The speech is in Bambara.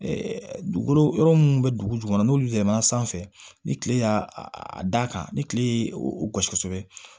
dugukolo yɔrɔ munnu bɛ dugu jukɔrɔ n'olu tɛmɛna sanfɛ ni tile y'a a da kan ni kile ye o gosi kosɛbɛ